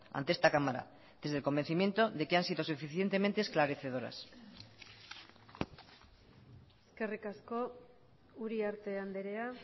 ante esta cámara desde el convencimiento de que han sido suficientemente esclarecedoras eskerrik asko uriarte andrea